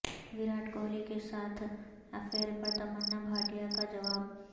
ویراٹ کوہلی کے ساتھ افیئر پر تمنا بھاٹیہ کا جواب